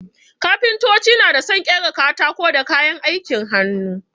Kafintoci na dā sun ƙera katako da kayan aikin hannu.